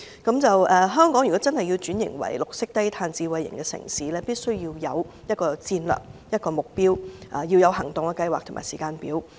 如果香港真的要轉型為綠色低碳智慧型城市，必須有戰略和目標，包括行動計劃和時間表。